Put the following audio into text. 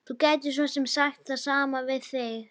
Þú gætir svo sem sagt það sama við mig.